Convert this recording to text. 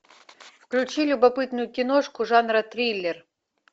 включи любопытную киношку жанра триллер